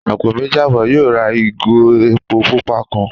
Àpò méjì àbọ̀ yóò rà ìgò epo pupa kan